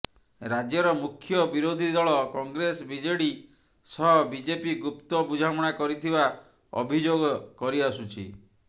ରାଜ୍ୟର ମୁଖ୍ୟ ବିରୋଧୀ ଦଳ କଂଗ୍ରେସ ବିଜେଡି ସହ ବିଜେପି ଗୁପ୍ତ ବୁଝାମଣା କରିଥିବା ଅଭିଯୋଗ କରିଆସୁଛି